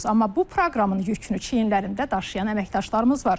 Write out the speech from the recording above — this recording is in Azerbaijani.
Amma bu proqramın yükünü çiyinlərimdə daşıyan əməkdaşlarımız var.